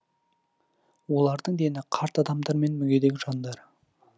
олардың дені қарт адамдар мен мүгедек жандар